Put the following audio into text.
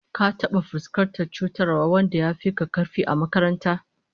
Ka taba fuskantar cutarwar wanda yafi ka karfi a makaranta?